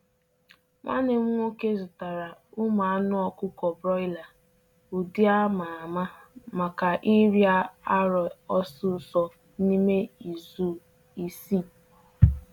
Nwanne m'woke zụtara ụmụ anụ ọkụkọ broiler, ụdị a ma ama maka ịrịa arọ osisor n’ime izu isii.